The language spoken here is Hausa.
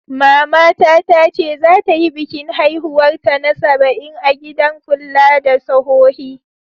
Mama ta tace zata yi bikin haihuwar ta na sabain a'gidan kulla da sohohi.